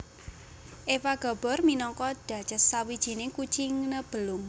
Eva Gabor minangka Duchess Sawijining kucing Nebelung